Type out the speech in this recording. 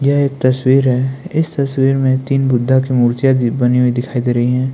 यह एक तस्वीर है इस तस्वीर में तीन बुद्धा की मूर्तिया जी बनी हुई दिखाई दे रहीं है।